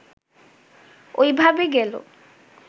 ঐ ভাবে গেল